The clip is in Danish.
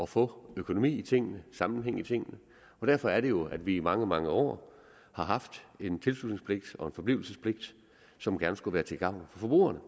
få økonomi i tingene sammenhæng i tingene derfor er det jo at vi i mange mange år har haft en tilslutningspligt og en forblivelsespligt som gerne skulle være til gavn for forbrugerne